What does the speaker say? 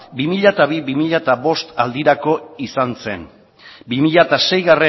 bi mila bi bi mila bost aldirako izan zen bi mila sei